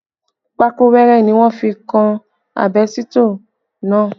Pákó wẹrẹ ni wọ́n fi kan àbẹ́sítọ̀ náà